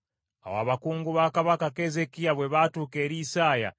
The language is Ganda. Awo abakungu ba Kabaka Keezeekiya bwe baatuuka eri Isaaya,